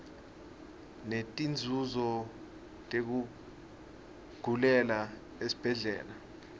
netinzunzo tekugulela esibhedlela